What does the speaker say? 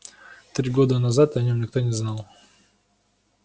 три года назад о нём никто не знал